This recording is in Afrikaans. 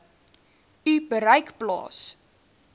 u bereik plaas